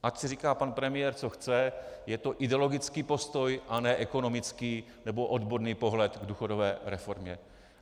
Ať si říká pan premiér, co chce, je to ideologický postoj, a ne ekonomický nebo odborný pohled k důchodové reformě.